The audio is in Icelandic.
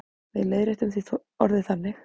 Við leiðréttum því orðið þannig.